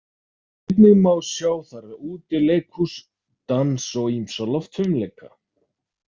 Einnig má sjá þar útileikhús, dans og ýmsa loftfimleika.